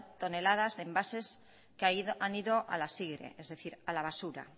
toneladas de envases que han ido a la sigre es decir a la basura